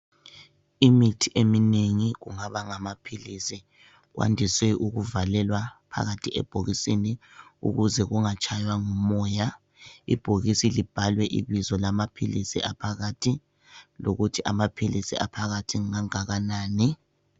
Imithi eminengi kungaba ngamaphilizi wandiswe ukuvalelwa phakathi ebhokisini ukuze kungatshaywa ngumoya ibhokisi libhalwe ibizo lamaphilisi aphakathi lokuthi amaphilisi aphakathi ngangakanani.